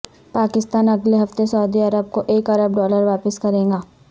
پاکستان اگلے ہفتے سعودی عرب کوایک ارب ڈالر واپس کرے گا